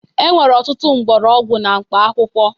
E nwere ọtụtụ mgbọrọgwụ na mkpaakwụkwọ